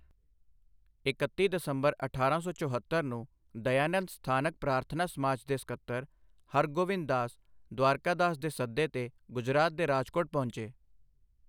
ਇਕੱਤੀ ਦਸੰਬਰ ਅਠਾਰਾਂ ਸੌ ਚੋਹਤੱਰ ਨੂੰ ਦਯਾਨੰਦ ਸਥਾਨਕ ਪ੍ਰਾਰਥਨਾ ਸਮਾਜ ਦੇ ਸਕੱਤਰ ਹਰਗੋਵਿੰਦ ਦਾਸ ਦ੍ਵਾਰਕਾਦਾਸ ਦੇ ਸੱਦੇ 'ਤੇ ਗੁਜਰਾਤ ਦੇ ਰਾਜਕੋਟ ਪਹੁੰਚੇ।